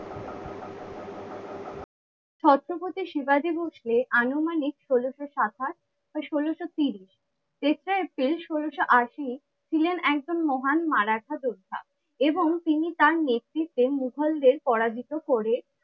ছত্রপতি শিবাজী ভোসলে আনুমানিক ষোলোশো সাতাশ বা ষোলোশো তিরিশ। তেসরা এপ্রিল ষোলোশো আশি ছিলেন একজন মহান মারাঠা যোদ্ধা এবং তিনি তার নেতৃত্বে মুঘলদের পরাজিত করে